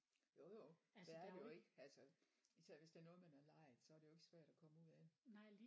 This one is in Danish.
Jo jo det er der jo ikke altså især hvis det er noget man har lejet så er det jo ikke svært at komme ud af